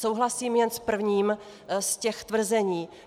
Souhlasím jen s prvním z těch tvrzení.